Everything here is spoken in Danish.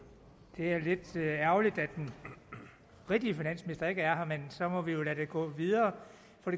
det er lidt ærgerligt at den rigtige finansminister ikke er her men så må vi jo lade det gå videre